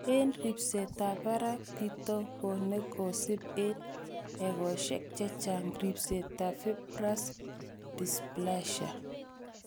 En ripsetab barak , kitikone kisib en egosiek chechang' ripsetab fibrous dysplasia.